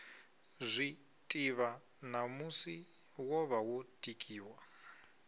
zwiḓivha ṋamusi wovha wo tikiwa